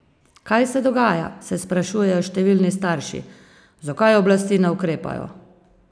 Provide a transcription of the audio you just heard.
Kaj se dogaja, se sprašujejo številni starši, zakaj oblasti ne ukrepajo?